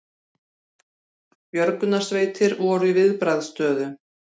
Björgunarsveitir voru í viðbragðsstöðu